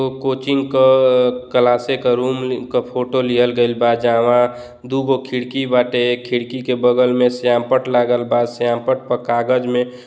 Coaching क क्लासे क रूम क फोटो लिहल गईल बा। जहवाँ दुगो खिड़की बाटे। खिड़की के बगल मे श्यामपट्ट लागल बा श्यामपट्ट प कागज़ मे --